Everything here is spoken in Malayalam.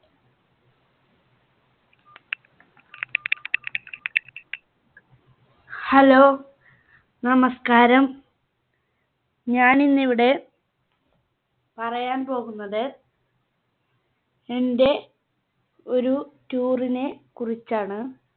Hello, നമസ്കാരം. ഞാൻ ഇന്നിവിടെ പറയാൻ പോകുന്നത് എന്റെ ഒരു Tour നെ കുറിച്ചാണ്.